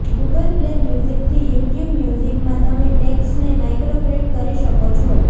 Google play મ્યુઝિકથી YouTube મ્યુઝિકમાં તમે ટ્રેક્સને માઈગ્રેટ કરી શકો છો